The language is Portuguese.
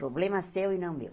Problema seu e não meu.